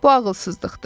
Bu ağılsızlıqdır.